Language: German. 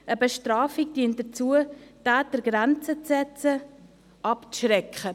Eine Bestrafung dient dazu, den Tätern Grenzen zu setzen, sie abzuschrecken.